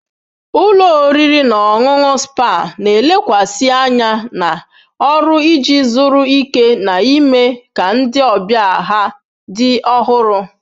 Ụlọ oriri na ọṅụṅụ spa na-elekwasị anya na ọrụ iji zuru ike na ime ka ndị ọbịa ha dị ọhụrụ.